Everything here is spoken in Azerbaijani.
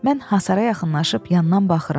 Mən hasara yaxınlaşıb yandan baxıram.